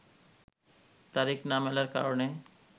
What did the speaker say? তারিখ না মেলার কারণে